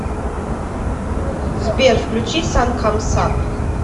сбер включи сан камс ап